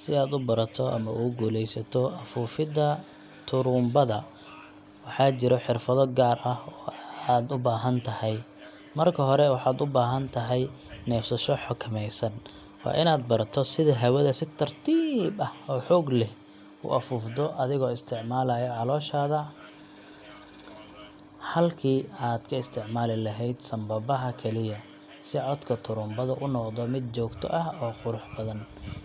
Si aad u barato ama ugu guleysato afuufidda turumbada, waxaa jiro xirfado gaar ah oo aad u baahan tahay .Marka hore waxaad u baahan thay neefsasho xakameysan . Waa inaad barato sida hawada si tartiib leh oo xoog leh u afuufto adigoo isticmaalayo calooshada, halkii aa isticmaali laheed sambabaha kaliya si codka turumbada u noqdo mid joogto ah oo qurux badan .